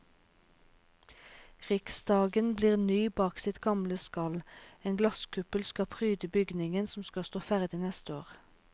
Riksdagen blir ny bak sitt gamle skall, en glasskuppel skal pryde bygningen som skal stå ferdig neste år.